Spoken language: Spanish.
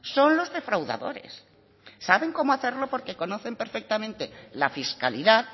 son los defraudadores saben cómo hacerlo porque conocen perfectamente la fiscalidad